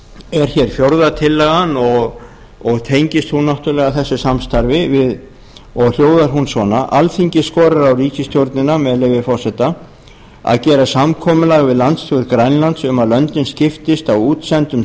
er hér fjórða tillagan og tengist hún náttúrlega þessu samstarfi og hljóðar hún svona með leyfi forseta alþingi skorar á ríkisstjórnina að gera samkomulag við landsstjórn grænlands um að löndin skiptist á útsendum